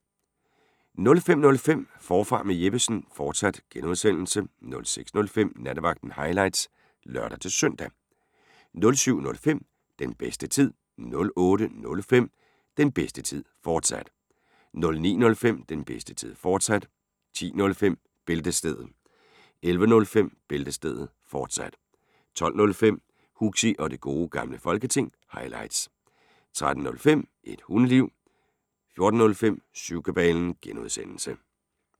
05:05: Forfra med Jeppesen fortsat (G) 06:05: Nattevagten – highlights (lør-søn) 07:05: Den bedste tid 08:05: Den bedste tid, fortsat 09:05: Den bedste tid, fortsat 10:05: Bæltestedet 11:05: Bæltestedet, fortsat 12:05: Huxi og Det Gode Gamle Folketing – highlights 13:05: Et Hundeliv 14:05: Syvkabalen (G)